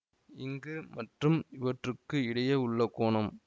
இங்கு மற்றும் இவற்றுக்கு இடையே உள்ள கோணம்